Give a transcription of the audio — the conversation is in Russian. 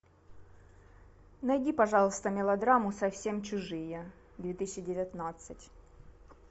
найди пожалуйста мелодраму совсем чужие две тысячи девятнадцать